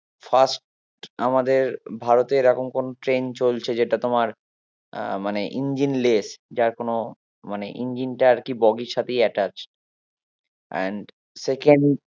First আমাদের ভারতে এরকম কোনো ট্রেন চলছে যেটা তোমার আহ মানে engine less যার কোনো মানে engine টা আরকি বগি এর সাথেই attach and second